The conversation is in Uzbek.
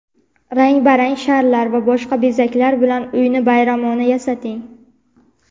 Rang-barang sharlar va boshqa bezaklar bilan uyni bayramona yasating.